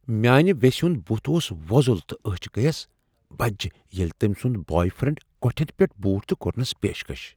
میانِہ ویسہ ہند بُتھ اوس وۄزُل تہٕ أچِھ گٔیس بجِہ ییلِہ تٔمۍ سُند بوائے فرینڈ کوٹھین پیٹھ بیوٹھ تہٕ کورنس پیشکش۔